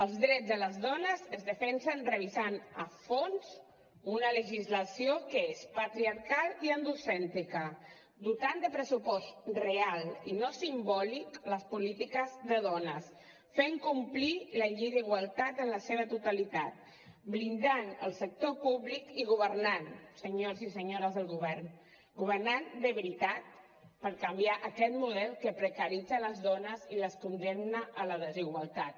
els drets de les dones es defensen revisant a fons una legislació que és patriarcal i androcèntrica dotant de pressupost real i no simbòlic les polítiques de dones fent complir la llei d’igualtat en la seva totalitat blindant el sector públic i governant senyors i senyores del govern governant de veritat per canviar aquest model que precaritza les dones i les condemna a la desigualtat